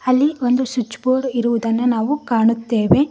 ಇಲ್ಲಿ ಒಂದು switch board ಇರುವುದನ್ನ ನಾವು ಕಾಣುತ್ತೇವೆ.